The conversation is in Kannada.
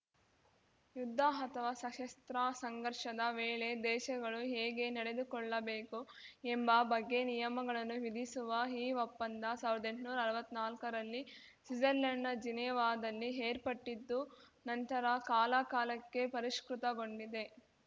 ಯುದ್ಧ ಅಥವಾ ಸಶಸ್ತ್ರ ಸಂಘರ್ಷದ ವೇಳೆ ದೇಶಗಳು ಹೇಗೆ ನಡೆದುಕೊಳ್ಳಬೇಕು ಎಂಬ ಬಗ್ಗೆ ನಿಯಮಗಳನ್ನು ವಿಧಿಸುವ ಈ ಒಪ್ಪಂದ ಸಾವ್ರ್ದಾ ಎಂಟ್ನೂರಾ ಅರ್ವತ್ನಾಲ್ಕರಲ್ಲಿ ಸ್ವಿಜರ್‌ಲೆಂಡ್‌ನ ಜಿನೆವಾದಲ್ಲಿ ಏರ್ಪಟ್ಟಿದ್ದು ನಂತರ ಕಾಲಕಾಲಕ್ಕೆ ಪರಿಷ್ಕೃತಗೊಂಡಿದೆ